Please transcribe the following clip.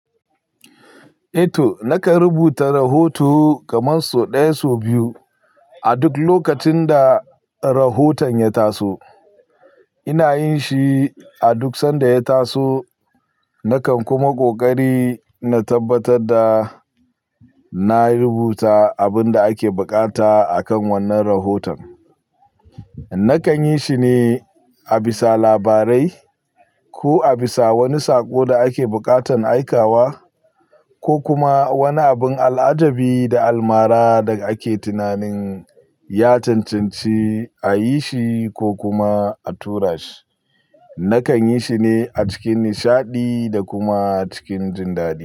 Eto, nakan rubuta rahoto kamar sau ɗaya, sau biyu a duk lokacin da rahoton ya taso. Ina yin shi a duk sanda ya taso. Nakan kuma ƙoƙari na tabbatar da na rubuta abin da ake buƙata a kan wannan rahoton. Na kan yi shi ne a bisa labarai, ko a bisa wani saƙo da ake buƙatan aikawa ko kuma wani abun al'ajabi da almara da ake tunanin ya cancanci a yi shi ko kuma a tura shi. Na kan yi shi ne a cikin nishaɗi da kuma cikin jin daɗi.